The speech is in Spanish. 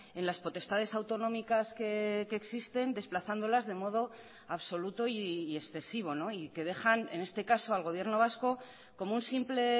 en las potestades autonómicas que existen desplazándolas de modo absoluto y excesivo y que dejan en este caso al gobierno vasco como un simple